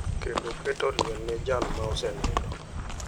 kendoketo liel ne jal ma osenindo.